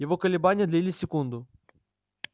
его колебания длились секунду